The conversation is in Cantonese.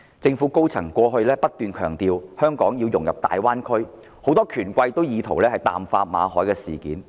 政府高層過去不斷強調香港融入大灣區的重要性。很多權貴亦意圖淡化馬凱事件。